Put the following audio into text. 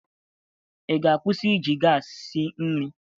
Ị ga-akwụsị iji gaasị si nri?